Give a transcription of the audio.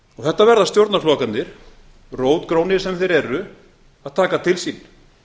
þetta verða stjórnarflokkarnir rótgrónir sem þeir eru að taka til sín